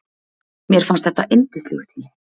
Mér fannst þetta yndislegur tími.